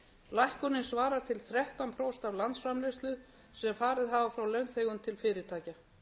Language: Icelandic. lækkunin svarar til þrettán prósent af landsframleiðslu sem farið hafa frá launþegum til fyrirtækja